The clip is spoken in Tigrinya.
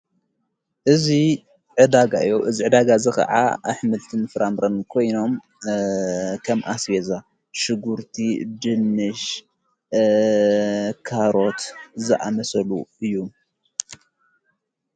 እዙይ ዕዳጋ እዮ እዝ ዕዳጋ እዘ ኸዓ ኣኅመልትን ፍራምረን ኮይኖም ከም ኣስቤዛ ሽጕርቲ ድንሽ ካሮት ዝኣመሰሉ እዩ።